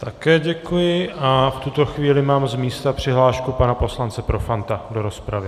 Také děkuji a v tuto chvíli mám z místa přihlášku pana poslance Profanta do rozpravy.